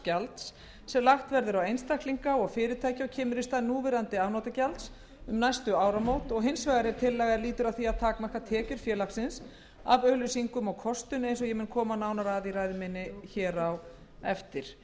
gjalds sem lagt verður á einstaklinga og fyrirtæki og kemur í stað núverandi afnotagjalds um næstu áramót og hins vegar er tillaga er lítur að því að takmarka tekjur félagsins af auglýsingum og kostun eins og ég mun koma nánar að í ræðu minni á eftir það